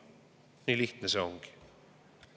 Nii lihtne see ongi.